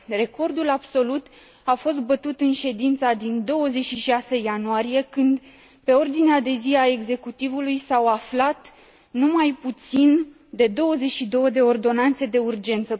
Recordul absolut a fost bătut în ședința din 26 ianuarie, când, pe ordinea de zi a Executivului, s au aflat nu mai puțin de 22 de ordonanțe de urgență.